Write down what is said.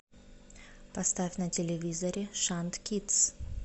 поставь на телевизоре шант кидс